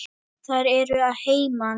Þær eru að heiman.